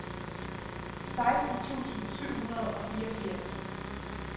seksten tusind syv hundrede og fireogfirs